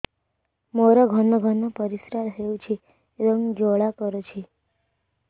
ମୋର ଘନ ଘନ ପରିଶ୍ରା ହେଉଛି ଏବଂ ଜ୍ୱାଳା କରୁଛି